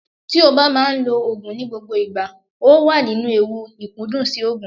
Tí o bá máa ń lo Ògùn ní gbogbo ìgbà, o wà nínú ewu ìkúndùn sí Ògùn.